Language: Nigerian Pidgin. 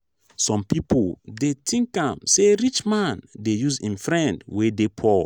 some pipo dey tink am sey rich man dey use im friend wey dey poor.